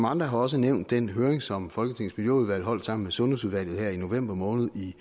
andre har også nævnt den høring som folketingets miljøudvalg holdt sammen med sundhedsudvalget i november måned i